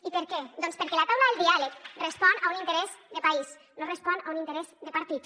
i per què doncs perquè la taula del diàleg respon a un interès de país no respon a un interès de partit